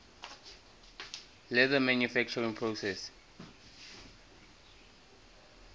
leather manufacturing process